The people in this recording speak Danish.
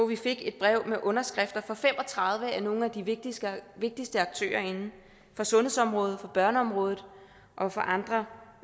vi fik et brev med underskrifter fra fem og tredive af nogle af de vigtigste vigtigste aktører inden for sundhedsområdet børneområdet og andre